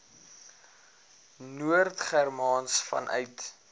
noord germaans vanuit